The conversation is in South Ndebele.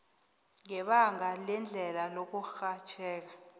ngebanga lendlela yokurhatjheka